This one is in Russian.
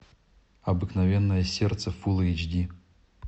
обыкновенное сердце фулл эйч ди